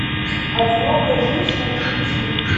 одинокая женщина включи